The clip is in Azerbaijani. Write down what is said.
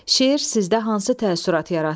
Şeir sizdə hansı təəssürat yaratdı?